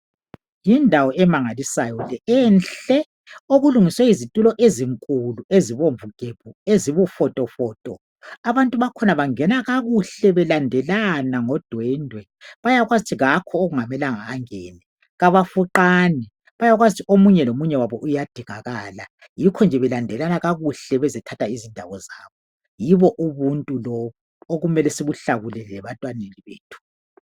Yindawo emangalisayo le enhle okulungiswe izitulo ezinkulu ezibomvu gebhu ezibufotofoto abantu bakhona bangena kakuhle belandelana ngodwedwe bayakwazi ukuthi kakho okungamelanga angene abafuqani bayazi ukuthi omunye lomunye wabo uyadingakala. Yikhu nje belandelana kakuhle bezothatha izindawo zabo, yibo ubuntu lobu okumele sikuhlakule lebantwaneni bethu.